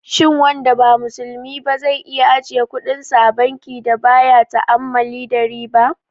Shin wanda ba musulmi ba zai iya ajiye kudinsa a bankin da baya ta'ammali da riba?